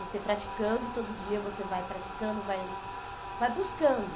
Você praticando todo dia, você vai praticando, vai vai buscando.